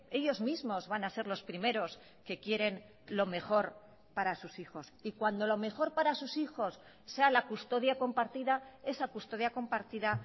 ellos mismos van a ser los primeros que quieren lo mejor para sus hijos y cuando lo mejor para sus hijos sea la custodia compartida esa custodia compartida